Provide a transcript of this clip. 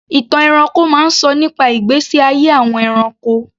Ìtàn ẹranko máa ń sọ nípa ìgbésí ayé àwọn ẹranko.